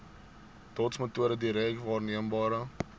dotsmetode direk waarneembare